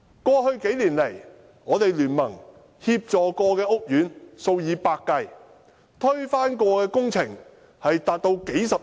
過去幾年來，大聯盟曾協助的屋苑數以百計，曾推翻的工程涉款高達數十億元。